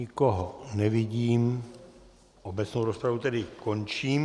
Nikoho nevidím, obecnou rozpravu tedy končím.